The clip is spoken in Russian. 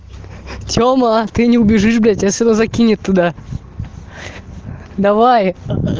тема ты не убежишь блять я тебя все равно закинет туда давай